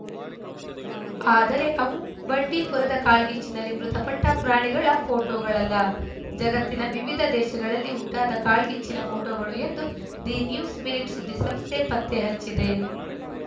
ಆದರೆ ಅವು ಬಂಡೀಪುರದ ಕಾಳ್ಗಿಚ್ಚಿನಲ್ಲಿ ಮೃತಪಟ್ಟಪ್ರಾಣಿಗಳ ಫೋಟೋಗಳಲ್ಲ ಜಗತ್ತಿನ ವಿವಿಧ ದೇಶಗಳಲ್ಲಿ ಉಂಟಾದ ಕಾಳ್ಗಿಚ್ಚಿನ ಫೋಟೋಗಳು ಎಂದು ದಿ ನ್ಯೂಸ್‌ ಮಿನಿಟ್‌ ಸುದ್ದಿ ಸಂಸ್ಥೆ ಪತ್ತೆ ಹಚ್ಚಿದೆ